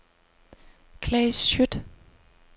Claes Schjødt